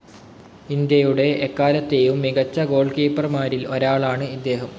ഇന്ത്യയുടെ എക്കാലത്തെയും മികച്ച ഗോൾ കീപ്പർമാരിൽ ഒരാളാണ്‌ ഇദ്ദേഹം.